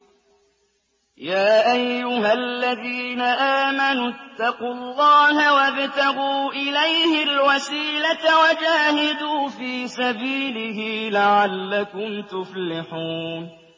يَا أَيُّهَا الَّذِينَ آمَنُوا اتَّقُوا اللَّهَ وَابْتَغُوا إِلَيْهِ الْوَسِيلَةَ وَجَاهِدُوا فِي سَبِيلِهِ لَعَلَّكُمْ تُفْلِحُونَ